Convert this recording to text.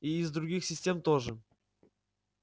и из других систем тоже